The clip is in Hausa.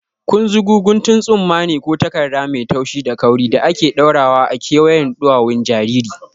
Kunzugu guntun tsumma ne ko takarda mai taushi da kauri da ake ɗaurawa a kewayen ɗuwawun jariri.